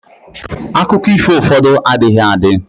akụkọ ifo ụfọdụ adịghị adi